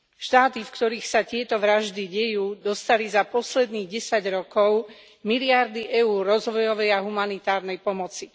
Štáty, v ktorých sa tieto vraždy dejú, dostali za posledných desať rokov miliardy eur rozvojovej a humanitárnej pomoci.